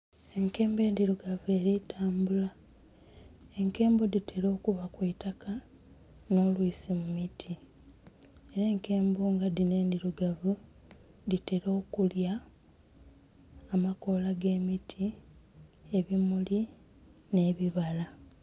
Enkembo endhiruugavu eri kutambula enkembo dhitera okuba kwitaka Oba olwisi mu miti era enkembo nga dhino endhirugavu dhitera okulya amakoola g'emiti, ebimuli n'ebibala.